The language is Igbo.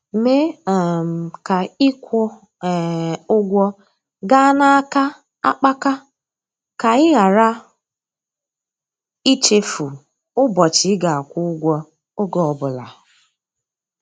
Mee um ka ịkwụ um ụgwọ gaa n'aka akpaka ka ị ghara ichefu ụbọchị ị ga-akwụ ụgwọ, ọge ọbụla.